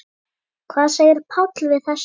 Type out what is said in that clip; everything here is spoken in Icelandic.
Hvað segir Páll við þessu?